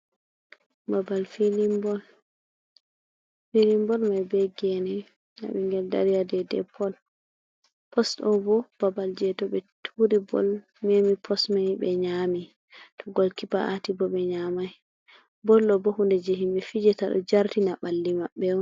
Babbal filin. Filin boll mai be gene. Ɗa bingel dari ya ɗaiɗai pos. Pos ɗobo babal je to be turi boll memi pos mai be nyami. To gol kipa aati bo be nyamai l. boll ɗobo hunde je himbe fijeta ɗo jartina balli mabbe.